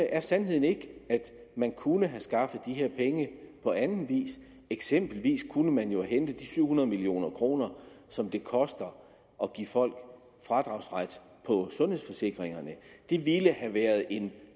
er sandheden ikke at man kunne have skaffet de her penge på anden vis eksempelvis kunne man jo have hentet de syv hundrede million kr som det koster at give folk fradragsret på sundhedsforsikringerne det ville have været en